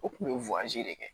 U tun bɛ de kɛ